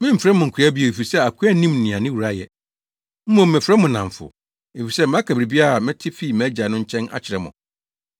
Memfrɛ mo nkoa bio, efisɛ akoa nnim nea ne wura yɛ. Mmom mefrɛ mo nnamfo, efisɛ maka biribiara a mete fii mʼAgya no nkyɛn akyerɛ mo.